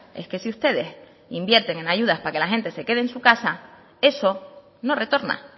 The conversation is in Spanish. es que si ustedes invierten en ayudas para que la gente se quede en su casa eso no retorna